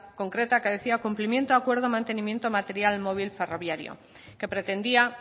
concreta que decía cumplimiento acuerdo mantenimiento material móvil ferroviario que pretendía